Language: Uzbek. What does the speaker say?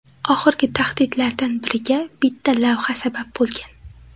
Oxirgi tahdidlardan biriga bitta lavha sabab bo‘lgan.